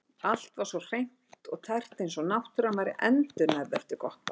Allt var svo hreint og tært eins og náttúran væri endurnærð eftir gott bað.